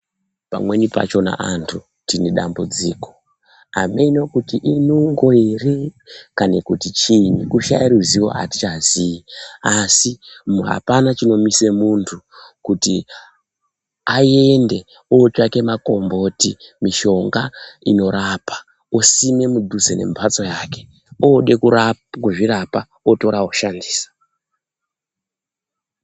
Pamweni pachona antu tine dambudziko ameno kuti inungo ere kana kuti chinyi kushaya ruzivo ere hatichazii, asi hapana chinomisa muntu kuti aende otsvaka makomboti, mishonga inorapa usime mudhuze nembatso yako, woda kuzvirapa wotora woshandisa.